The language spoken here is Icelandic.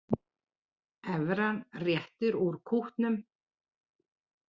Evran réttir út kútnum